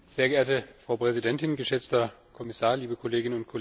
Frau Präsidentin, geschätzter Herr Kommissar, liebe Kolleginnen und Kollegen!